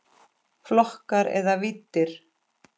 Flokkar eða víddir